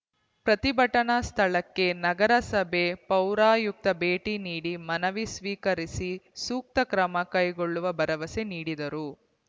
ಪ್ರತಿಭಟನಾ ಸ್ಥಳಕ್ಕೆ ನಗರಸಭೆ ಪೌರಾಯುಕ್ತ ಭೇಟಿ ನೀಡಿ ಮನವಿ ಸ್ವೀಕರಿಸಿ ಸೂಕ್ತ ಕ್ರಮ ಕೈಗೊಳ್ಳುವ ಭರವಸೆ ನೀಡಿದರು